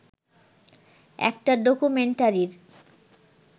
একটা ডকুমেন্টারির